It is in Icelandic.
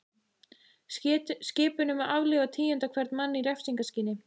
Skipun um að aflífa tíunda hvern mann í refsingarskyni.